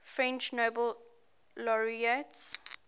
french nobel laureates